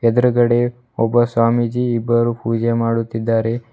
ಎದ್ರುಗಡೆ ಒಬ್ಬ ಸ್ವಾಮೀಜಿ ಇಬ್ಬರು ಪೂಜೆ ಮಾಡುತ್ತಿದ್ದಾರೆ.